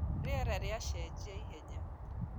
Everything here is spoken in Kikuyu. Rĩera rĩacengia ihenya